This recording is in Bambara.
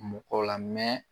Mɔgɔ la min